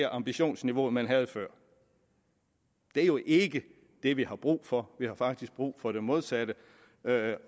ambitionsniveau man havde før det er jo ikke det vi har brug for vi har faktisk brug for det modsatte